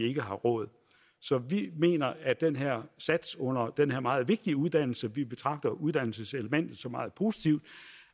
ikke har råd så vi mener at den her sats under den her meget vigtige uddannelse vi betragter uddannelseselementet som meget positivt